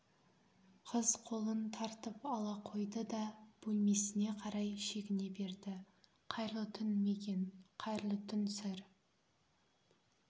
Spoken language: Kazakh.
қыз қолын тартып ала қойды да бөлмесіне қарай шегіне берді қайырлы түн мигэн қайырлы түн сэр